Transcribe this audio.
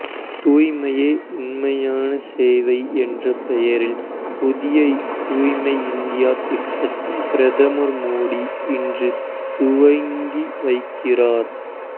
தூய்மையே உண்மையான சேவை என்ற பெயரில் புதிய தூய்மை இந்தியா திட்டத்தை பிரதமர் மோடி இன்று துவங்கி வைக்கிறார்